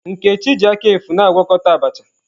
Nkechi ji aka efu na-agwakọta Abacha.